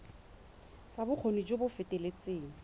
ya bokgoni jo bo feteletseng